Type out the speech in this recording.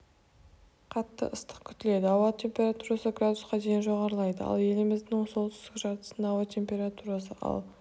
қатты ыстық күтіледі ауа температурасы градусқа дейін жоғарылайды ал еліміздің солтүстік жартысында ауа температурасы ал